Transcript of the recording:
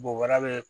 Bobara bɛ yen